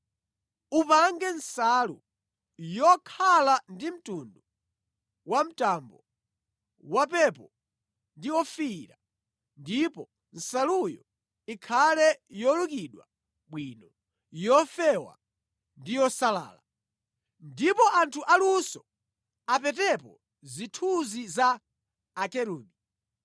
“Upange nsalu yokhala ndi mtundu wamtambo, wapepo ndi ofiira ndipo nsaluyo ikhale yolukidwa bwino, yofewa ndi yosalala. Ndipo anthu aluso apetepo zithunzi za Akerubi.